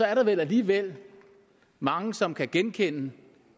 er der vel alligevel mange som kan genkende